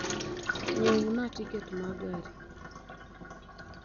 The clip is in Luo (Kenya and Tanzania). nyiewona tiket ma gari